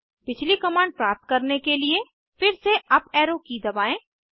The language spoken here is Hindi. पिछली कमांड प्राप्त करने के लिए फिर से अप एरो की दबाएं